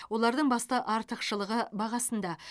олардың басты артықшылығы бағасында